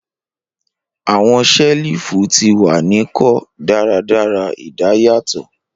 Awọn selifu ti wa ni ko daradara idayatọ